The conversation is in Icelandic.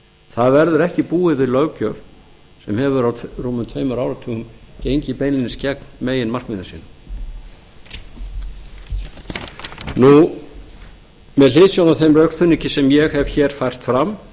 það verður ekki búið við löggjöf sem hefur á rúmum tveimur áratugum gengið beinlínis gegn meginmarkmiðum sínum með hliðsjón af þeim rökstuðningi sem ég hef fært fram